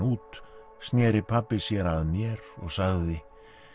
út sneri pabbi sér að mér og sagði